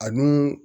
A dun